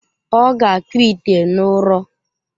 Ọ ga-akpụ ite n’ụrọ.